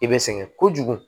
I bɛ sɛgɛn kojugu